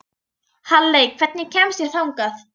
Halley, hvernig kemst ég þangað?